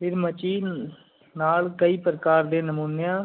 ਫੇਰ ਮੀਚੀ ਨਾਲ ਕਈ ਪ੍ਰਕਾਰ ਡੀ ਨਮੂਨਿਆਂ